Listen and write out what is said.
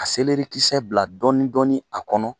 A bila dɔɔni dɔɔni a kɔnɔ.